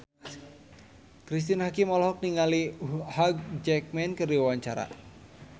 Cristine Hakim olohok ningali Hugh Jackman keur diwawancara